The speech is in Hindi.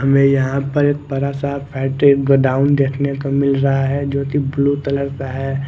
हमें यहां पर एक बरा सा फैक्ट्री गोडाउन देखने को मिल रहा है जोकि ब्लू तलर का है।